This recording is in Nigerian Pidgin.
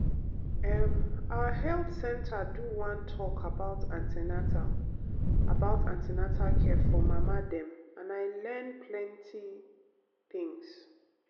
em our health center do one talk about an ten atal about an ten atal care for mama dem and i learn plenty um things.